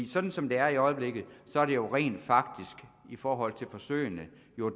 sådan som det er i øjeblikket er det jo rent faktisk i forhold til forsøgene